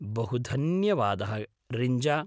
बहुधन्यवादः Rinja.